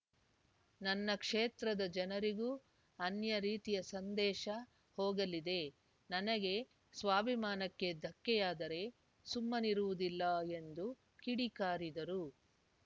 ನನ್ನ ಕ್ಷೇತ್ರದ ಜನರಿಗೂ ಅನ್ಯ ರೀತಿಯ ಸಂದೇಶ ಹೋಗಲಿದೆ ನನಗೆ ಸ್ವಾಭಿಮಾನಕ್ಕೆ ಧಕ್ಕೆಯಾದರೆ ಸುಮ್ಮನಿರುವುದಿಲ್ಲ ಎಂದು ಕಿಡಿಕಾರಿದರು